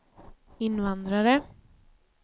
invandrare